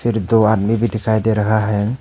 दो आदमी भी दिखाई दे रहा है।